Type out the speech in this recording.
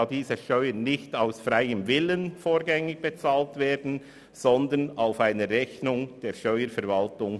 Denn diese Steuern werden nicht aus freiem Willen vorrangig bezahlt, sondern sie beruhen auf einer Rechnung der Steuerverwaltung.